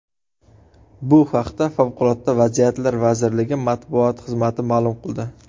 Bu haqda Favqulodda vaziyatlar vazirligi matbuot xizmati ma’lum qildi .